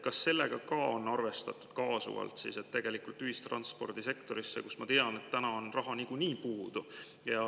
Kas on ka arvestatud kaasuvalt rahalisi vahendeid ühistranspordisektorisse, kus, ma tean, on täna raha nagunii puudu.